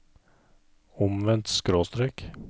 omvendt skråstrek